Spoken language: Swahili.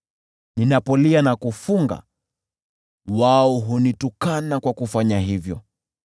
Ninapolia na kufunga, lazima nivumilie matusi.